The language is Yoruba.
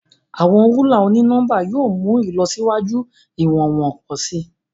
Awọn rúlà oni-nọmba yóò mú ìlọsíwájú iwọnwọn pọ si.